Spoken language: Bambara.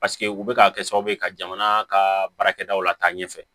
Paseke u bɛ ka kɛ sababu ye ka jamana ka baarakɛw lataa ɲɛfɛ